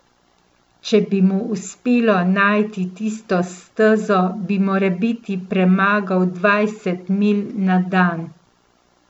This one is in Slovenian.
Če bi mu uspelo najti tisto stezo, bi morebiti premagal dvajset milj na dan.